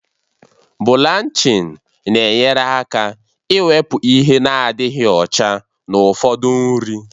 Bụlanchịn na-enyere aka ịwepụ ihe nadịghị ọcha na ụfọdụ nri